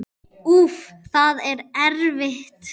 Úff, það er erfitt.